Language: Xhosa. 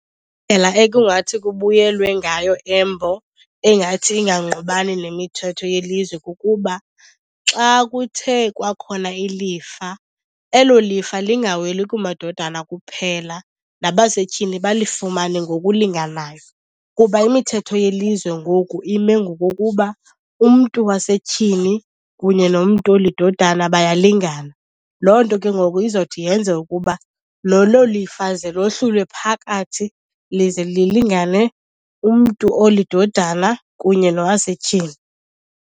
ekungathi kubuyelwe ngayo Embo engathi ingangqubani nemithetho yelizwe kukuba xa kuthe kwakhona ilifa, elo lifa lingaweli kumadodana kuphela nabasetyhini balifumane ngokulinganayo. Kuba imithetho yelizwe ngoku ime ngokokuba umntu wasetyhini kunye nomntu olidodana bayalingana. Loo nto ke ngoku izothi yenze ukuba lolo lifa ze lohlulwe phakathi lize lilingane umntu olidodana kunye nowasetyhini.